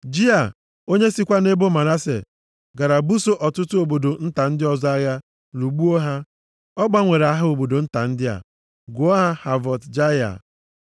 Jia, onye sikwa nʼebo Manase gara buso ọtụtụ obodo nta ndị ọzọ agha, lụgbuo ha. Ọ gbanwere aha obodo nta ndị a, gụọ ha Havọt Jaịa.